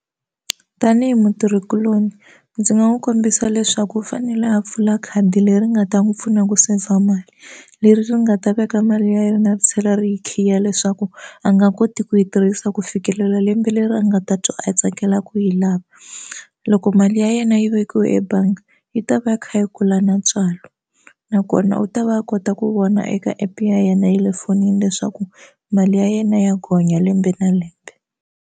Tanihi mutirhikuloni ndzi nga n'wi kombisa leswaku u fanele a pfula khadi leri nga ta n'wi pfuna ku saver mali leri ri nga ta veka mali yi ri na ri tlhela ri yi khiya leswaku a nga koti ku yi tirhisa ku fikelela lembe leri a nga data a tsakela ku yi lava loko mali ya yena yi vekile ebangi yi ta va yi kha yi kula na ntswalo nakona u ta va a kota ku vona eka app ya yena ya le fonini leswaku mali ya yena ya gonya lembe na lembe.